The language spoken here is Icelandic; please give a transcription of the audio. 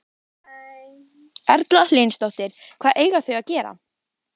Erla Hlynsdóttir: Hvað eiga þau að gera?